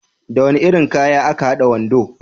Da wani irin kaya aka hada wando?